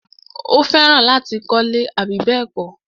Ó fẹ́ràn láti kọ́lẹ́. àbí bẹ́ẹ̀kọ́?